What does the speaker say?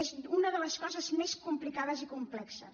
és una de les coses més complicades i complexes